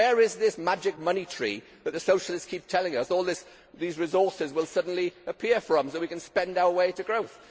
Where is this magic money tree that the socialists keep telling us all these resources will suddenly appear from so that we can spend our way to growth?